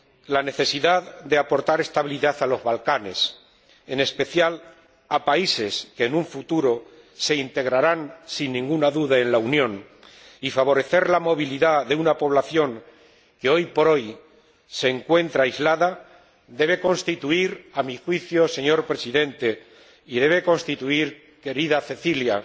La necesidad de aportar estabilidad a los Balcanes, en especial a países que en un futuro se integrarán, sin ninguna duda, en la Unión, y de favorecer la movilidad de una población que hoy por hoy se encuentra aislada debe constituir, a mi juicio, señor Presidente, y debe constituir, querida Cecilia,